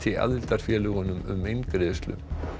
aðildarfélögunum um eingreiðslu